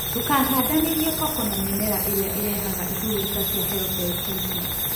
Ndũkahandanĩrie koko na mĩmera ĩrĩa ĩrehaga iburuta cia helopeltisi